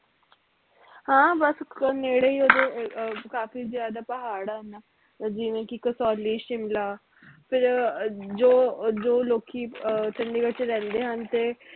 ਹਾਂ ਬਸ ਨੇੜੇ ਈ ਓਹਦੇ ਕਾਫੀ ਜਿਆਦਾ ਪਹਾੜ ਆ ਇੰਨਾ ਜਿਵੇ ਕਿ ਕਸੌਲੀ ਸ਼ਿਮਲਾ ਫਿਰ ਅਹ ਜੋ ਜੋ ਲੋਕੀ ਅਹ ਚੰਡੀਗੜ੍ਹ ਚ ਰਹਿੰਦੇ ਹਨ ਤੇ